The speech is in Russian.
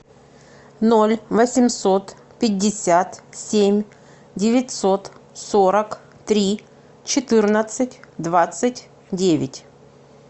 ноль восемьсот пятьдесят семь девятьсот сорок три четырнадцать двадцать девять